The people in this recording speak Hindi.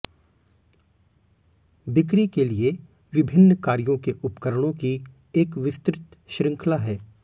बिक्री के लिए विभिन्न कार्यों के उपकरणों की एक विस्तृत श्रृंखला है